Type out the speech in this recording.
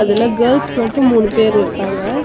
அதுல கேள்ஸ் மட்டும் மூணு பேர் இருக்காங்க.